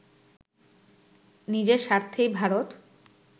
নিজের স্বার্থেই ভারত